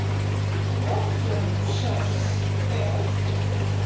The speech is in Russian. лоджия сейчас р